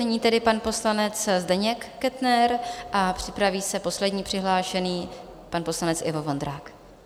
Nyní tedy pan poslanec Zdeněk Kettner a připraví se poslední přihlášený, pan poslanec Ivo Vondrák.